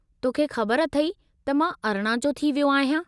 तोखे ख़बरु अथई त मां अरिणां जो थी वियो आहियां ?